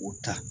U ta